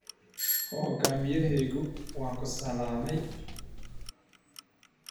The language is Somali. Hogaamiyahaygu waa ku salaamay.